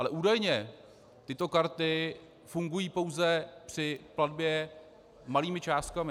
Ale údajně tyto karty fungují pouze při platbě malými částkami.